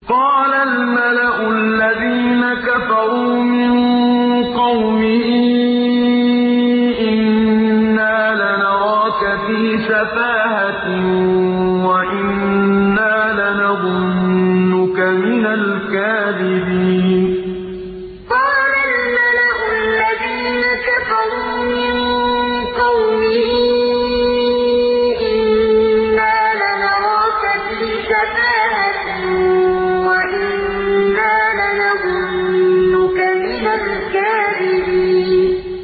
قَالَ الْمَلَأُ الَّذِينَ كَفَرُوا مِن قَوْمِهِ إِنَّا لَنَرَاكَ فِي سَفَاهَةٍ وَإِنَّا لَنَظُنُّكَ مِنَ الْكَاذِبِينَ قَالَ الْمَلَأُ الَّذِينَ كَفَرُوا مِن قَوْمِهِ إِنَّا لَنَرَاكَ فِي سَفَاهَةٍ وَإِنَّا لَنَظُنُّكَ مِنَ الْكَاذِبِينَ